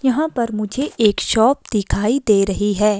यहाँ पर मुझे एक शॉप दिखाई दे रही है।